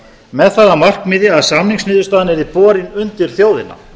með það að markmiði að samningsniðurstaðan yrði borin undir þjóðina